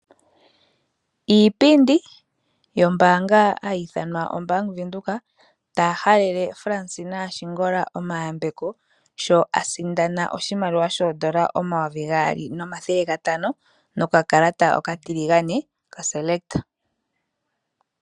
Iipundi yombaanga hayi i thanwa obank Windhoek, taya halele Fransina Ashingola omayambeko sho a sindana oshimaliwa shoodola omayovi gaali nomathele gantano nokakalata okatiligane kaSelekt.